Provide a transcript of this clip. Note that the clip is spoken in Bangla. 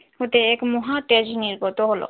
হতে এক মহাদেশ নির্গত হল।